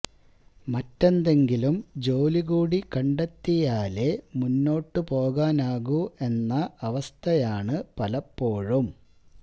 മറ്റെന്തെങ്കിലും ജോലി കൂടി കണ്ടെത്തിയാലേ മുന്നോട്ടു പോകാനാകൂ എന്ന അവസ്ഥയാണ് പലപ്പോഴും